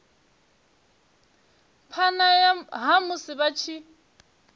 phana ha musi vha tshi